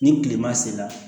Ni kilema sera